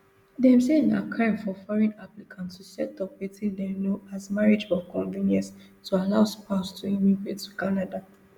dem say na crime for foreign applicant to set up wetin dem know as marriage of convenience to allow spouse to immigrate to canada